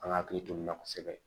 An ka hakili to nin na kosɛbɛ